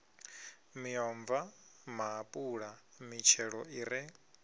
miomva maapula mitshelo i re